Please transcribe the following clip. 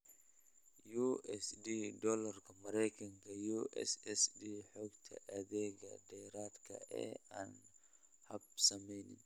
USD Doolarka Maraykanka USSD Xogta Adeegga Dheeraadka ah ee Aan Habsaamin